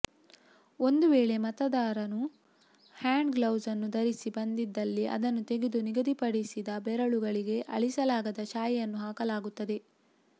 ಒಂದು ವೇಳೆ ಮತದಾರನು ಹ್ಯಾಂಡ್ ಗ್ಲೌಸ್ಅನ್ನು ಧರಿಸಿ ಬಂದಿದ್ದಲ್ಲಿ ಅದನ್ನು ತೆಗೆದು ನಿಗದಿಪಡಿಸಿದ ಬೆರಳಿಗೆ ಅಳಿಸಲಾಗದ ಶಾಯಿಯನ್ನು ಹಾಕಲಾಗುತ್ತದೆ